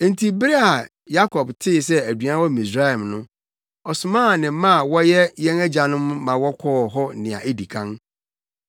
Enti bere a Yakob tee sɛ aduan wɔ Misraim no, ɔsomaa ne mma a wɔyɛ yɛn agyanom ma wɔkɔɔ hɔ nea edi kan.